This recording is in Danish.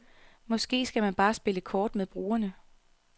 Måske skal man bare spille kort med brugerne.